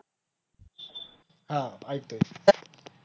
हा ऐकतोय